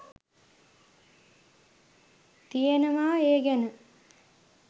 තියෙනවා ඒ ගැන.